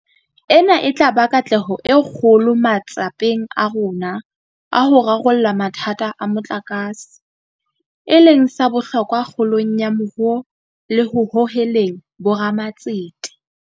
Ena e tla ba katleho e kgolo matsapeng a rona a ho rarolla mathata a motlakase, e leng sa bohlokwa kgolong ya moruo le ho hoheleng bo ramatsete.